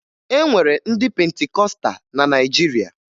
E nwere ndị Pentikọsta na Naịjirịa